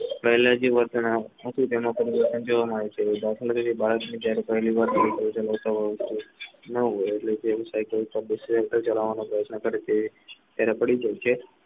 દાખલા તરીકે બાલાજીની